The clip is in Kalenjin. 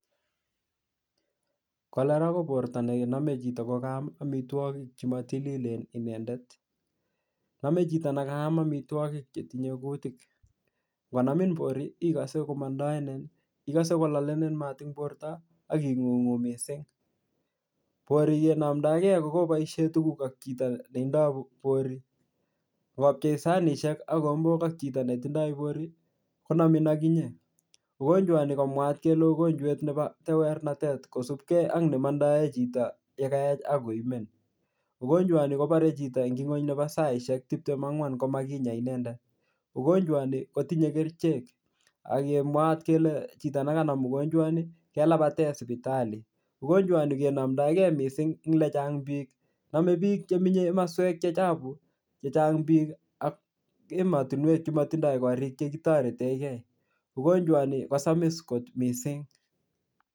Kolera ko borto ne name chito ko kaam amitwogik chematililen inendet. Name chito nekaam amitwogik chetinyei kutik. Ngonamin bori igose komandainin, igose kolalenin mat eng borto ak ingungu mising. Bori kenamndagei kokeboisie tuguk ak chito netindai bori. Ngopchei sanisiek ak kigombok ak chito ne tindoi bori konamin ak inye. Ugojwani komwaat kele ugonjwet nebo tewernatet kosubke ak nemandae chito ye kaech ak koimen. Ugonjwani kobarei chito eng saisiek 24 ngomakinya inendet. Ugonjwani kotinye kerichek ak kemwaat kele chito nekanam ugonjwani kelabaten sipitali. Ugonjwani kenomndogei mising eng lechang biik. Nome biich eng komoswek che chapu chechang biik ak ematinwek che matindoi korik chekitoreikei. Ugonjwani kosamis kot mising.